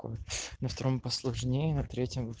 на втором по сложнее на третьем